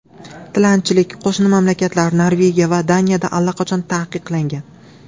Tilanchilik qo‘shni mamlakatlar Norvegiya va Daniyada allaqachon taqiqlangan.